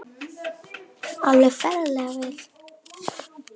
Alveg ferlega vel.